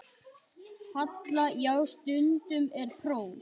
Halla: Já, stundum er próf.